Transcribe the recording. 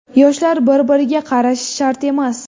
Yoshlar bir-biriga qarashi shart emas.